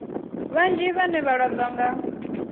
vhanzhi vhane vha lwadzwa nga